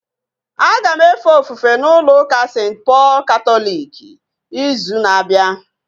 Aga m efe ofufe n'ụlọ ụka St. Pọl katọliki ịzụ na-abịa